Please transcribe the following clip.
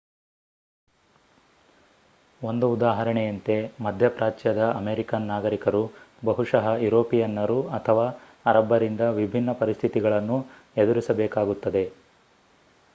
ಒಂದು ಉದಾಹರಣೆಯಂತೆ ಮಧ್ಯಪ್ರಾಚ್ಯದ ಅಮೆರಿಕನ್ ನಾಗರಿಕರು ಬಹುಶಃ ಯುರೋಪಿಯನ್ನರು ಅಥವಾ ಅರಬ್ಬರಿಂದ ವಿಭಿನ್ನ ಪರಿಸ್ಥಿತಿಗಳನ್ನು ಎದುರಿಸಬೇಕಾಗುತ್ತದೆ